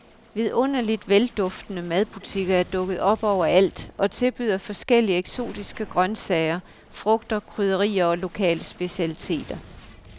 Vidunderligt velduftende madbutikker er dukket op overalt og tilbyder forskellige eksotiske grøntsager, frugter, krydderier og lokale specialiteter.